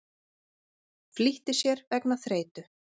Flýtti sér vegna þreytu